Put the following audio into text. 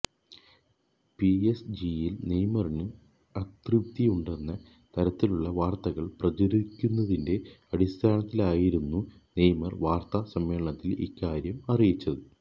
പിഎസ്ജിയില് നെയ്മറിന് അതൃപ്തിയുണ്ടെന്ന തരത്തിലുള്ള വാര്ത്തകള് പ്രചരിക്കുന്നതിന്റെ അടിസ്ഥാനത്തിലായിരുന്നു നെയ്മര് വാര്ത്താ സമ്മേളനത്തില് ഇക്കാര്യം അറിയിച്ചത്